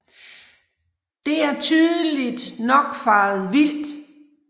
Det er tydeligt nok faret vild